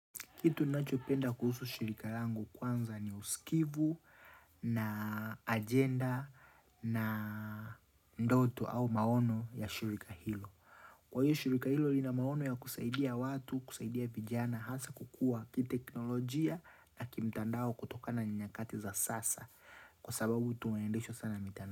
Kitu nacho penda kuhusu shirika langu kwanza ni usikivu na agenda na ndoto au maono ya shirika hilo. Kwa hiyo shirika hilo lina maono ya kusaidia watu, kusaidia vijana, hasa kukua kiteknolojia na kimtandao kutokana na nyakati za sasa. Kwa sababu tume endishwa sana mitani.